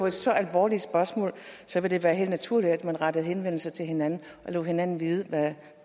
et så alvorligt spørgsmål vil det være helt naturligt at man retter henvendelse til hinanden og lader hinanden vide hvad